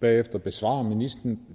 bagefter besvarer ministeren